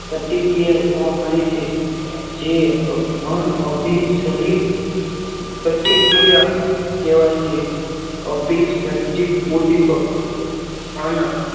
પ્રતિક્રિયા જોવા મળી છે જે અન્ન અભિસારી પ્રતિક્રિયા કહેવાય છે અભી શ્રદ્ધિત ઉદ્દીપક અને